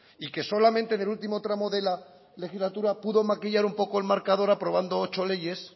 y que solamente en el último tramo de la legislatura pudo maquillar un poco el marcador aprobando ocho leyes